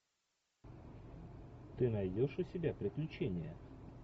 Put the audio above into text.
ты найдешь у себя приключения